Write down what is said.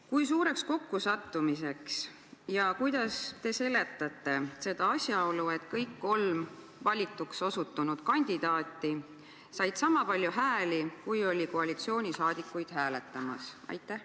Kui suureks kokkusattumiseks te peate ja kuidas te seletate asjaolu, et kõik kolm valituks osutunud kandidaati said sama palju hääli, kui oli koalitsioonisaadikuid hääletamas?